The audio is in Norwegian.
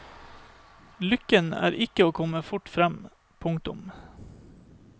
Lykken er ikke å komme fort frem. punktum